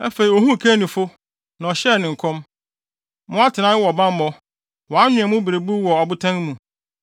Afei, ohuu Kenifo, na ɔhyɛɛ ne nkɔm: “Mo atenae wɔ bammɔ, wɔanwen mo berebuw wɔ abotan mu;